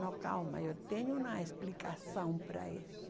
Não, calma, eu tenho uma explicação para isso.